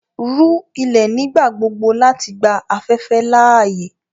Rú ilẹ̀ nígbàgbogbò láti gbà afẹ̀fẹ̀ laaye!